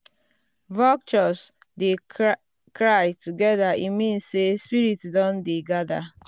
vultures dey cry together e mean say spirits don dey gather.